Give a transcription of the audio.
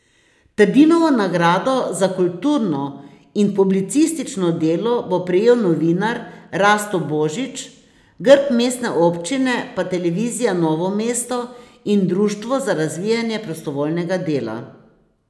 Trdinovo nagrado za kulturno in publicistično delo bo prejel novinar Rasto Božič, grb mestne občine pa Televizija Novo mesto in Društvo za razvijanje prostovoljnega dela.